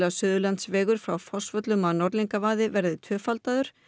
Suðurlandsvegur frá Fossvöllum að Norðlingavaði verði tvöfaldaður